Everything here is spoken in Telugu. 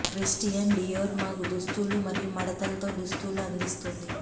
క్రిస్టియన్ డియోర్ మాకు దుస్తులు మరియు మడతలు తో దుస్తులు అందిస్తుంది